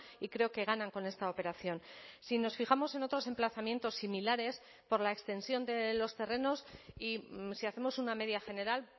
y creo que ganan con esta operación si nos fijamos en otros emplazamientos similares por la extensión de los terrenos y si hacemos una media general